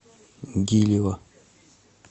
гилева